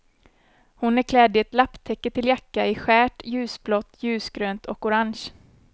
Hon är klädd i ett lapptäcke till jacka i skärt, ljusblått, ljusgrönt och orange.